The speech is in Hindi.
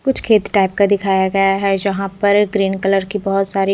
कुछ खेत टाइप का दिखाई गया है जहा पर ग्रीन कलर की बोहोत सारी --